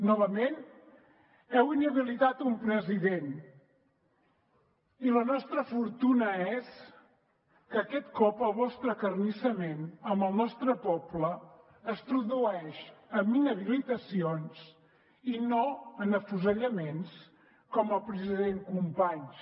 novament heu inhabilitat un president i la nostra fortuna és que aquest cop el vostre acarnissament amb el nostre poble es tradueix en inhabilitacions i no en afusellaments com el del president companys